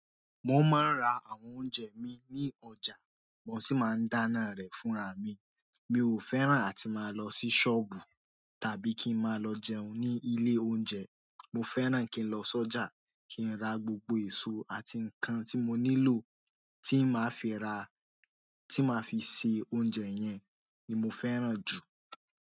Mo máa ń ra àwọn oúnjẹ mi ní ọjà, mo sì máa ń dáná rẹ̀ fúnra mi. Mi ò fẹ́ràn àti máa lọ sí sọ́ọ̀bù tàbí kí n máa lọ jẹun ní ilé oúnjẹ. Mo fẹ́ràn kí n lọ so ja kin ra gbogbo èso àti nkán tí mo nílò tí má fi ra tí má fi ṣe oúnjẹ yẹn ni mo fẹ́ràn jù.